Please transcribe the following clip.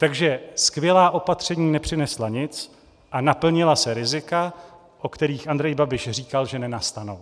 Takže skvělá opatření nepřinesla nic a naplnila se rizika, o kterých Andrej Babiš říkal, že nenastanou.